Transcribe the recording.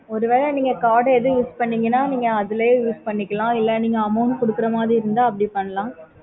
ஒரு வேல நீங்க card ஏதும் use பண்ணீங்கன்னா நீங்க அதுக்கையே use பண்ணிக்கலாம் இல்லனா amount குடுக்குற மாதிரி இருந்தாலும்